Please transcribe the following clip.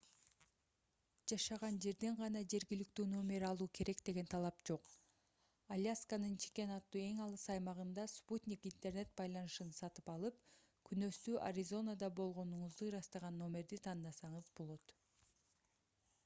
жашаган жерден гана жергиликтүү номер алуу керек деген талап жок алясканын чикен аттуу эң алыс аймагында спутник интернет байланышын сатып алып күнөстүү аризонада болгонуңузду ырастаган номерди тандасаңыз болот